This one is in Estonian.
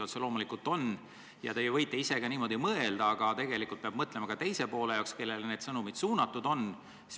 Otse loomulikult on ja te võite niimoodi mõelda, aga tegelikult peab mõtlema ka teisele poolele, kellele need sõnumid suunatud on.